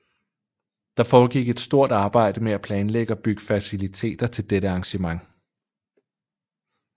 Der foregik et stort arbejde med at planlægge og bygge faciliteter til dette arrangement